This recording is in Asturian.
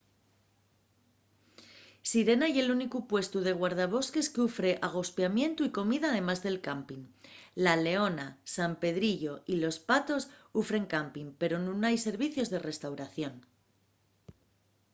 sirena ye’l únicu puestu de guardabosques qu’ufre agospiamientu y comida además de campin. la leona san pedrillo y los patos ufren campin pero nun hai servicios de restauración